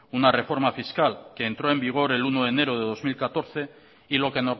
una reforma fiscal que entró en vigor el uno de enero de dos mil catorce y lo que